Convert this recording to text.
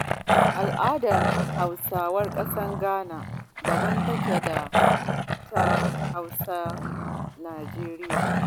Al'adar Hausawan ƙasar Ghana daban take da ta Hausawan Najeriya.